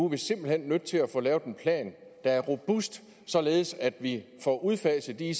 vi simpelt hen nødt til at få lavet en plan der er robust således at vi får udfaset de